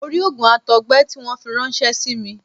Mo rí òògùn àtọ̀gbẹ tí wọ́n fi ráńṣẹ́ símí